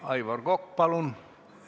Aivar Kokk, palun!